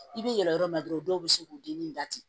I bɛ yɛlɛ yɔrɔ min na dɔrɔn dɔw bɛ se k'u denni da ten